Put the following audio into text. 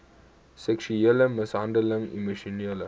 seksuele mishandeling emosionele